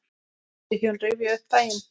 Þau hjón rifja upp daginn.